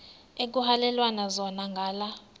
ekuhhalelwana zona ngala